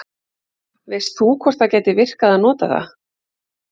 veist þú hvort það gæti virkað að nota það